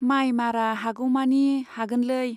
माइ मारा हागौमानि हागोनलै।